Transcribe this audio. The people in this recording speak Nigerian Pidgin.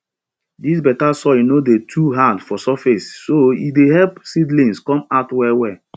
dis better soil no dey too hard for surface so e dey help seedlings come out well well